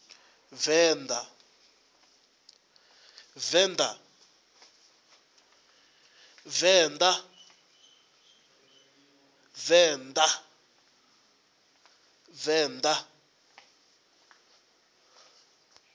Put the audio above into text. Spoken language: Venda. venda